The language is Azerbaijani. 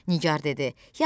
Nigar dedi: